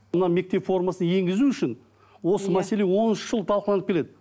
мына мектеп формасын енгізу үшін осы мәселе он үш жыл талқыланып келеді